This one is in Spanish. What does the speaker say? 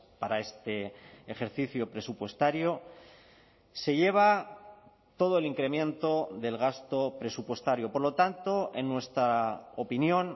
para este ejercicio presupuestario se lleva todo el incremento del gasto presupuestario por lo tanto en nuestra opinión